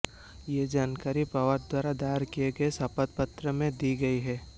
यह जानकारी पवार द्वारा दायर किए गए शपथपत्र में दी गई है